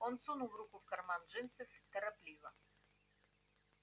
он сунул руку в карман джинсов торопливо